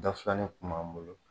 Dafilani kun b'an bolo